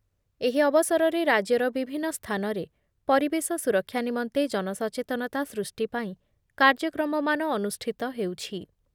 ଏହି ଅବସରରେ ରାଜ୍ୟର ବିଭିନ୍ନ ସ୍ଥାନରେ ପରିବେଶ ସୁରକ୍ଷା ନିମନ୍ତେ ଜନସଚେତନତା ସୃଷ୍ଟି ପାଇଁ କାର୍ଯ୍ୟକ୍ରମମାନ ଅନୁଷ୍ଠିତ ହେଉଛି ।